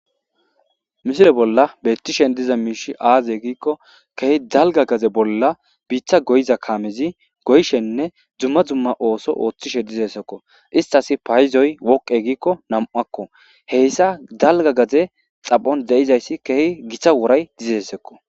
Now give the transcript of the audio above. misile bolla bettishen diza miishi aaze giikko keehi dalga gaze bolla biiththa goyiza kaamezi goyshenne dzumma dzumma ooso ooththishe dizeesekko istas payizoy woqe giikko nam7akko heyssa dalga gaze xapon de7izayssi keehi githa wuray dizessekko